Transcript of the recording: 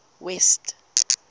west